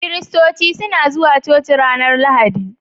christoci suna zuwa coci ranar lahadi